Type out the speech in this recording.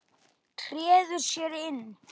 Treður sér inn.